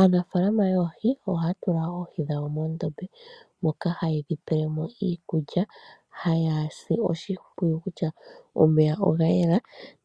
Aanafaalama yoohi ohaa tula oohi dhawo muundombe moka haye dhi pele mo iikulya, haye dhi sile oshimpwiyu